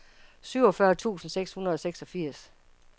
syvogfyrre tusind seks hundrede og seksogfirs